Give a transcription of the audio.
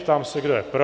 Ptám se, kdo je pro?